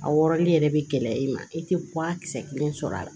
A wɔrɔli yɛrɛ bɛ gɛlɛya i ma i tɛ bɔ a kisɛ kelen sɔrɔ a la